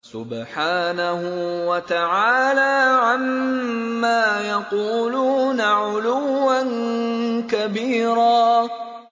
سُبْحَانَهُ وَتَعَالَىٰ عَمَّا يَقُولُونَ عُلُوًّا كَبِيرًا